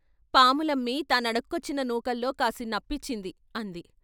" పాములమ్మి తానడుక్కొచ్చిన నూకల్లో కాసినప్పిచ్చింది " అంది.